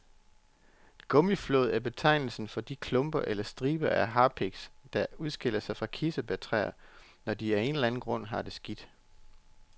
Gummiflåd er betegnelsen for de klumper eller striber af harpiks, der udskilles fra kirsebærtræer, når de af en eller anden grund har det skidt.